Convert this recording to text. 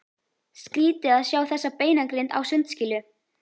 Skrýtið að sjá þessa beinagrind á sundskýlu!